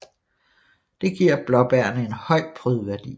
Det giver blåbærene en høj prydværdi